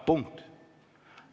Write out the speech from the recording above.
Punkt.